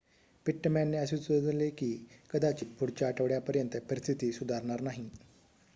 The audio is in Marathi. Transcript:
पिट्टमॅनने असे सुचवले की कदाचित पुढच्या आठवड्यापर्यंत परिस्थिती सुधारणार नाही